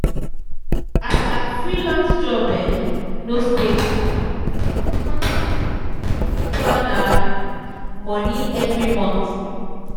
as her freelance job um no stable she dey struggle plan struggle plan her um money every month. um